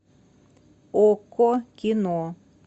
окко кино